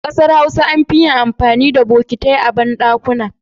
A kasar Hausa an fi yin amfani da botikai a bandakuna.